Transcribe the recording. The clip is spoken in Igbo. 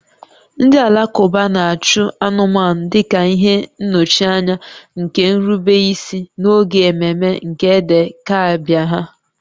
Ndị Alakụba na-achụ anụmanụ dị ka ihe nnọchianya nke nrubeisi n'oge ememe nke Eid-el-Kabir ha